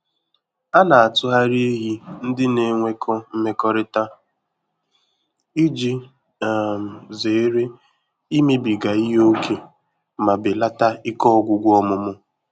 A na-atụgharị ehi ndị na-enwekọ mmekọrịta iji um zere imebiga ihe ókè ma belata ike ọgwụgwụ ọmụmụ.